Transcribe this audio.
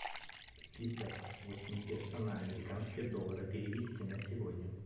пятьдесят восемь песо на американские доллары перевести на сегодня